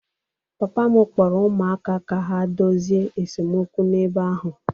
Papa m kpọrọ ụmụaka ka ha dozie esemokwu n'ebe ahụ